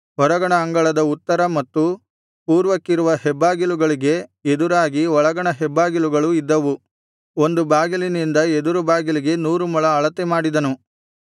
ಹೊರಗಣ ಅಂಗಳದ ಉತ್ತರ ಮತ್ತು ಪೂರ್ವಕ್ಕಿರುವ ಹೆಬ್ಬಾಗಿಲುಗಳಿಗೆ ಎದುರಾಗಿ ಒಳಗಣ ಹೆಬ್ಬಾಗಿಲುಗಳು ಇದ್ದವು ಒಂದು ಬಾಗಿಲಿನಿಂದ ಎದುರು ಬಾಗಿಲಿಗೆ ನೂರು ಮೊಳ ಅಳತೆ ಮಾಡಿದನು